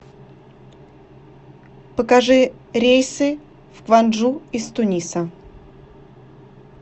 покажи рейсы в кванджу из туниса